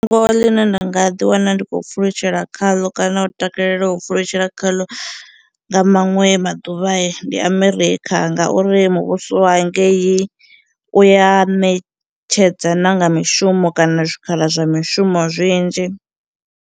Ngo ḽine nda nga ḓi wana ndi khou pfhulutshela khaḽo kana u takalela u pfhulutshela khaḽo nga maṅwe maḓuvha ndi America ngauri muvhuso wa ngeyi u ya ṋetshedza na nga mishumo kana zwikhala zwa mishumo zwinzhi.